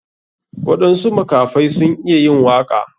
Waɗansu makafai sun iya yin waka.